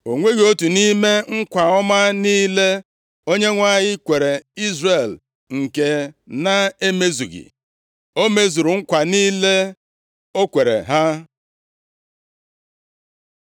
O nweghị otu nʼime nkwa ọma niile Onyenwe anyị kwere Izrel nke na-emezughị. O mezuru nkwa niile o kwere ha.